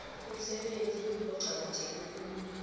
umsebenzi oqakatheke khulu